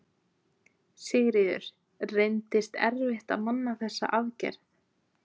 Sigríður: Reyndist erfitt að manna þessa aðgerð?